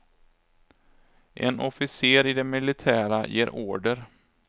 En officer i det militära ger order.